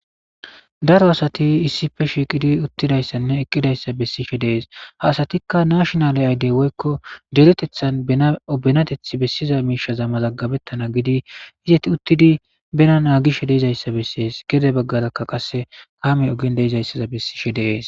daro asati issife shiiqidi uttidayssanne eqqidayssa bessishe dees ha asatikka nashonale ayddey woykko deretethan bena benateth bessiza miishaza mazaggabettana gidi izati uttidi bena naa gishe deizayssa bessees gede baggalakka qase kamey ogin deizayssaza bessishe dees